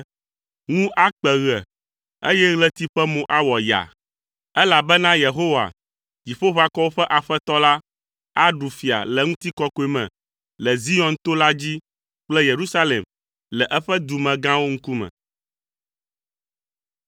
Ŋu akpe ɣe, eye ɣleti ƒe mo awɔ yaa, elabena Yehowa, Dziƒoʋakɔwo ƒe Aƒetɔ la, aɖu fia le ŋutikɔkɔe me le Zion to la dzi kple Yerusalem le eƒe dumegãwo ŋkume.